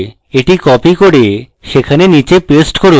এটি copy করে সেখানে নীচে paste করি